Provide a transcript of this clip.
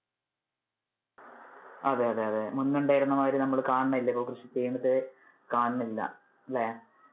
അതെ അതെ മുൻപേ ഉണ്ടായിരുന്ന മാതിരി നമ്മള് കാണുന്നില്ല ഇപ്പൊ കൃഷി ചെയ്യുന്നത് കാണുന്നില്ല അല്ലെ.